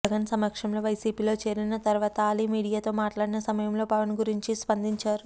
జగన్ సమక్షంలో వైసీపీలో చేరిన తర్వాత అలీ మీడియాతో మాట్లాడిన సమయంలో పవన్ గురించి స్పందించారు